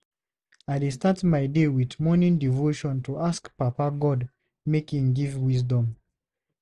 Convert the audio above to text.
I dey start my day with morning devotion to ask Papa God make im give wisdom.